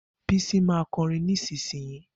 Bisi ma kọrin nísinsìnyí.